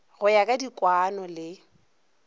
go ya ka dikwaano le